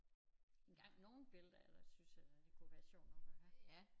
Engang nogle billeder er der synes jeg da det kunne være sjovt nok at have